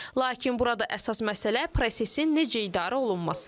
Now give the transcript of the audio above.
Lakin burada əsas məsələ prosesin necə idarə olunmasıdır.